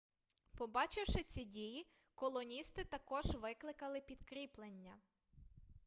побачивши ці дії колоністи також викликали підкріплення